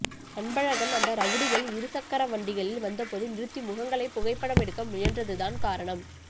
அன்பழகன் அந்த ரவுடிகள் இருசக்கரவண்டிகளில் வந்தபோது நிறுத்தி முகங்களை புகைப்படம் எடுக்க முயன்றதுதான் காரணம்